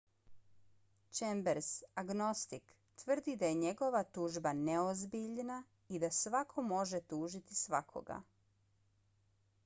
chambers agnostik tvrdi da je njegova tužba neozbiljna i da svako može tužiti svakoga